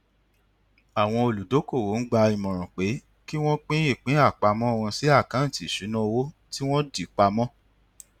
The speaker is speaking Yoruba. àwọn olùdókòwò ń gba ìmọràn pé kí wọn pín ìpín àpamọ wọn sí àkáǹtì ìṣúnná owó tí wọn dì pa mọ